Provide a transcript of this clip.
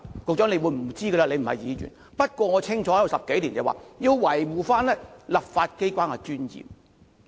局長不知道，因為他不是議員，不過我加入立法會10多年，清楚知道要維護立法機關的尊嚴。